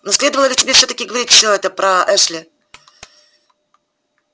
но следовало ли тебе всё-таки говорить всё это про эшли